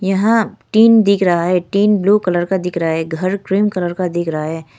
यहां टीन दिख रहा है टीन ब्लू कलर का दिख रहा है घर क्रीम कलर का दिख रहा है।